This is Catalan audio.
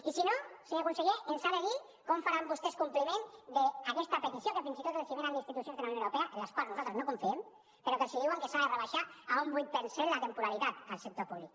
i si no senyor conseller ens ha de dir com faran vostès compliment d’aquesta petició que fins i tot els ve d’institucions de la unió europea en les quals nosaltres no confiem però que els diuen que s’ha de rebaixar a un vuit per cent la temporalitat al sector públic